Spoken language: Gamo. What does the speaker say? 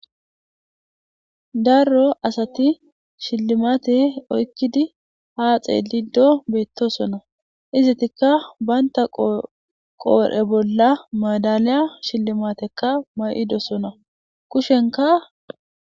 Darro asati shillimate oykkidi haaxee lido beettosona izitikka baynta qoore bolla maadaliya shillimatekka may'idosona kushenka